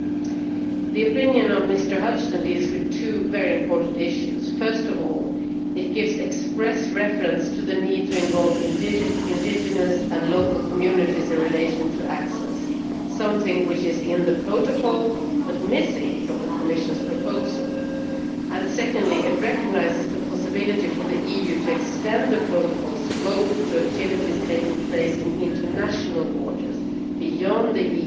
Mr Hudghton's opinion deals with two very important issues first of all it makes express reference to the need to involve indigenous and local communities in relation to access something which is in the protocol, but missing from the Commission's proposal and, secondly, it recognises the possibility for the EU to extend the protocol's scope to activities taking place in international waters beyond the